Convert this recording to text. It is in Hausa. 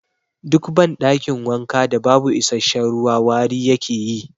Duk ban ɗakin wanka da babu isasshen ruwa wari yake yi